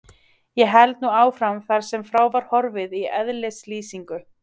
Ég held nú áfram þar sem frá var horfið í eðlislýsingu